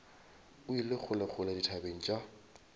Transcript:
o ile kgolekgole dithabeng tša